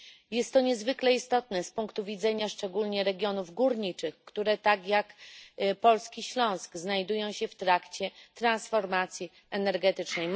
Jest to niezwykle istotne z punktu widzenia szczególnie regionów górniczych, które tak jak polski Śląsk znajdują się w trakcie transformacji energetycznej.